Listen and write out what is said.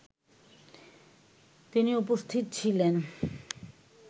তিনি উপস্থিত ছিলেন